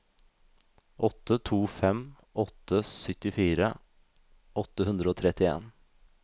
åtte to fem åtte syttifire åtte hundre og trettien